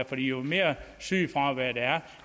for jo mere sygefravær der er